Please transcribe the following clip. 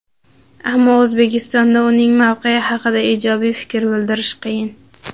ammo O‘zbekistonda uning mavqeyi haqida ijobiy fikr bildirish qiyin.